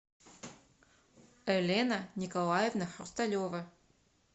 элена николаевна хрусталева